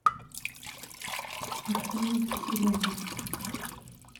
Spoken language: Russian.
оксана киселева